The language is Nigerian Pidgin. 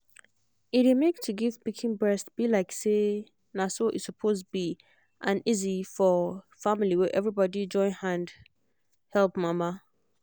e dey make to give pikin breast be like say na so e suppose be an easy for family where everybody join hand help mama